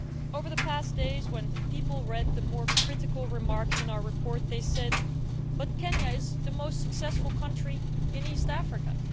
Over the past days, when people read the more critical remarks in our report, they said But Kenya is the most successful country in East Africa'.